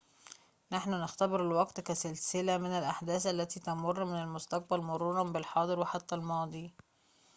نحن نختبر الوقت كسلسلة من الأحداث التي تمر من المستقبل مروراً بالحاضر وحتى الماضي